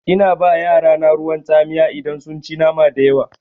Ina ba yarana ruwan tsamiya idan sun ci nama dayawa.